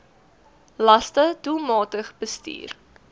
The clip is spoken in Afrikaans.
laste doelmatig bestuur